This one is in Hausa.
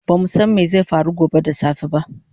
Bamu san mai zai faru gobe da safe ba